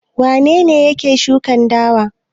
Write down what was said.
Wane ne yake shuka dawa?